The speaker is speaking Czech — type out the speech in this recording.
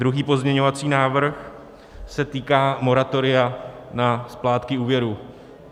Druhý pozměňovací návrh se týká moratoria na splátky úvěrů.